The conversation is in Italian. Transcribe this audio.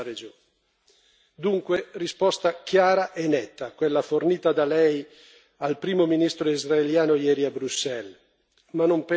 Dunque, risposta chiara e netta quella fornita da Lei al primo ministro israeliano ieri a Bruxelles, ma non penso sia sufficiente.